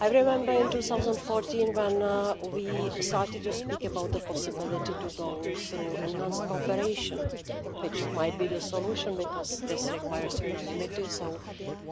I remember in 2014 when we started to speak about the possibility to go through enhanced cooperation, which might be the solution, because this requires unanimity so